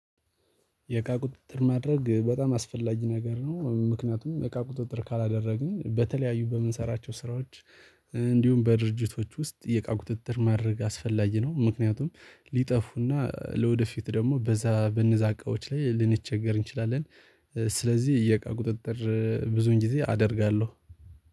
የእቃ ቁጥጥር ማድረግ በጣም አስፈላጊ ነገር ነው ምክንያቱም የእቃ ቁጥጥር ካላደረግን በተለያዩ በምንሰራቸው ስራዎች እንዲሁም በድርጅቶች ውስጥ የእቃ ቁጥጥር ማድረግ አስፈላጊ ነው። ምክንያቱም ሊጠፉና ለወደፊት ደግሞ በዛ በነዛ እቃዎች ላይ ልንቸገር እንችላለ፤ ስለዚህ የእቃ ቁጥጥር ብዙን ጊዜ አደርጋለሁ።